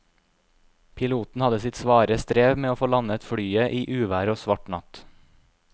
Piloten hadde sitt svare strev med å få landet flyet i uvær og svart natt.